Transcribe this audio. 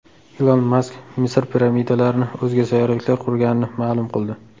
Ilon Mask Misr piramidalarini o‘zga sayyoraliklar qurganini ma’lum qildi.